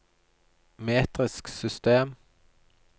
metrisk system